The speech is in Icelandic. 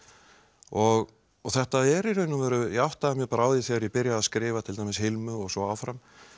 og þetta er í raun og veru ég áttaði mig á því þegar ég byrjaði að skrifa til dæmis Hilmu og svo áfram